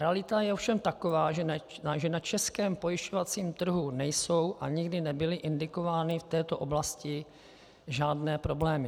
Realita je ovšem taková, že na českém pojišťovacím trhu nejsou a nikdy nebyly indikovány v této oblasti žádné problémy.